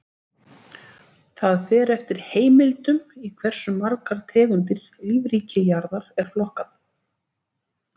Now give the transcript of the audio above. Það fer eftir heimildum í hversu margar tegundir lífríki jarðar er flokkað.